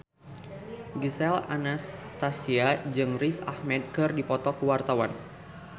Gisel Anastasia jeung Riz Ahmed keur dipoto ku wartawan